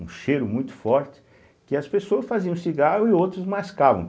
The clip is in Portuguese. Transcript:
Um cheiro muito forte, que as pessoas faziam cigarro e outros mascavam.